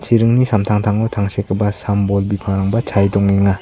iringni samtangtango tangsekgipa sam-bol bipangrangba chae dongenga.